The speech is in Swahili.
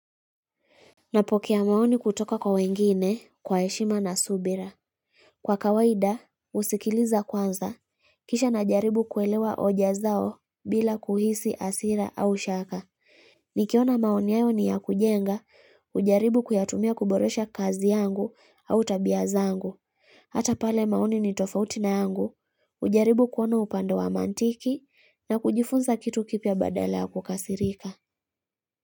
Napokea maoni kutoka kwa wengine kwa heshima na subira. Kwa kawaida, husikiliza kwanza, kisha najaribu kuelewa hoja zao bila kuhisi hasira au shaka. Nikiona maoni yao ni ya kujenga, hujaribu kuyatumia kuboresha kazi yangu au tabia zangu. Hata pale maoni ni tofauti na yangu, hujaribu kuona upande wa mantiki na kujifunza kitu kipya badala ya kukasirika.